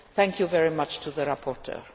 Thank you very much to the rapporteur.